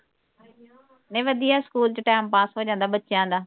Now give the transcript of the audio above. ਨਹੀ ਵਧੀਆ ਸਕੂਲ ਚ ਟਾਇਮ ਪਾਸ ਹੋਂ ਜਾਂਦਾ ਬੱਚਿਆਂ ਦਾ